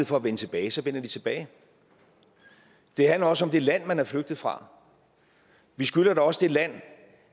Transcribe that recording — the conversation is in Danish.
for at vende tilbage så vender de tilbage det handler også om det land man er flygtet fra vi skylder da også det land